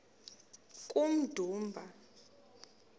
kummdumba